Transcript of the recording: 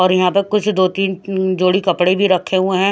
और यहाँ पे कुछ दो तीन जोड़ी कपड़े भी रखे हुए ह--